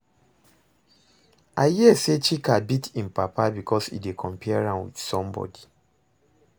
I hear say Chika beat im papa because e dey compare am with somebody